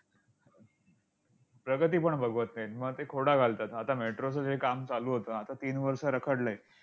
प्रगती पण बघवत नाही. मग ते खोडा घालतात. आता metro चं जे काम चालू होतं, आता तीन वर्ष रखडलंय.